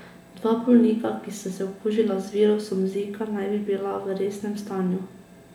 Dva bolnika, ki sta se okužila z virusom zika, naj bi bila v resnem stanju.